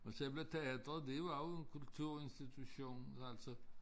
Og selve teatret det var jo en kulturinstitution altså